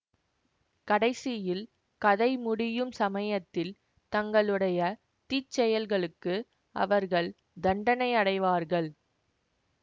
கடைசியில் கதை முடியும் சமயத்தில் தங்களுடைய தீச்செயல்களுக்கு அவர்கள் தண்டனையடைவார்கள்